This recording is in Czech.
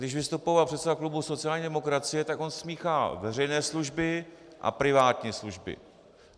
Když vystupoval předseda klubu sociální demokracie, tak on smíchal veřejné služby a privátní služby.